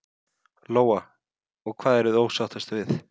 Lóa: Hvað eruð þið ósáttust við?